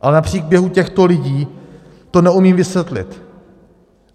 Ale na příběhu těchto lidí to neumím vysvětlit.